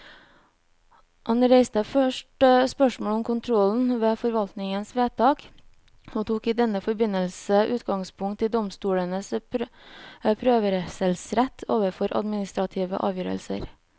Han reiste først spørsmålet om kontrollen med forvaltningens vedtak, og tok i denne forbindelse utgangspunkt i domstolenes prøvelsesrett overfor administrative avgjørelser.